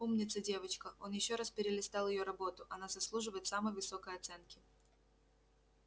умница девочка он ещё раз перелистал её работу она заслуживает самой высокой оценки